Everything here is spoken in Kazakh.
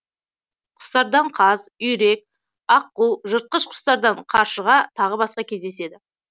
құстардан қаз үйрек аққу жыртқыш құстардан қаршыға тағы басқа кездеседі